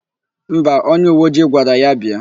Mba, onyeuweojii gwara ya bịa.